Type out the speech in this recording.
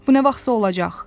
Bu nə vaxtsa olacaq.